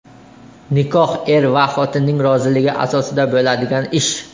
Nikoh er va xotinning roziligi asosida bo‘ladigan ish.